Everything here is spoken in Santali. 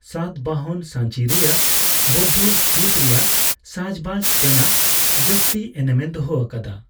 ᱥᱟᱛᱵᱟᱦᱚᱱ ᱥᱟᱸᱪᱤ ᱨᱮᱭᱟᱜ ᱵᱟᱳᱣᱫᱷᱚ ᱥᱛᱩᱯ ᱨᱮᱭᱟᱜ ᱥᱟᱡᱼᱵᱟᱡᱽ ᱛᱮᱱᱟᱜ ᱡᱟᱹᱥᱛᱤ ᱮᱱᱮᱢ ᱮ ᱫᱚᱦᱚ ᱟᱠᱟᱫᱟ ᱾